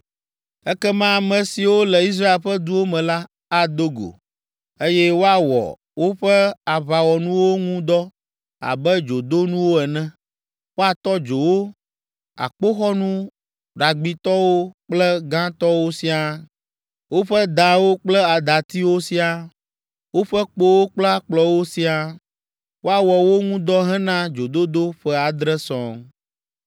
“ ‘Ekema ame siwo le Israel ƒe duwo me la, ado go, eye woawɔ woƒe aʋawɔnuwo ŋu dɔ abe dzodonuwo ene, woatɔ dzo wo, akpoxɔnu ɖagbitɔwo kple gãtɔwo siaa, woƒe dawo kple datiwo siaa, woƒe kpowo kple akplɔwo siaa. Woawɔ wo ŋu dɔ hena dzododo ƒe adre sɔŋ.